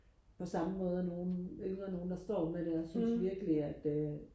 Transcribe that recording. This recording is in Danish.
på samme måde nogle yngre nogle der står med deres jeg synes virkelig at øh